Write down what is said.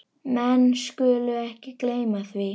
Menn skulu ekki gleyma því.